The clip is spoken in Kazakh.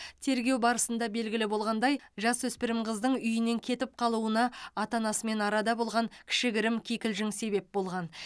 тергеу барысында белгілі болғандай жасөспірім қыздың үйінен кетіп қалуына ата анасымен арада болған кішігірім кикілжің себеп болған